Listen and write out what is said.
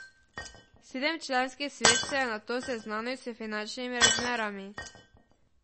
Sedemčlanski svet se je nato seznanil s finančnimi razmerami.